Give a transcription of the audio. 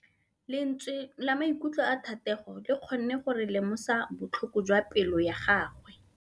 Lentswe la maikutlo a Thategô le kgonne gore re lemosa botlhoko jwa pelô ya gagwe.